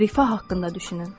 Rifah haqqında düşünün.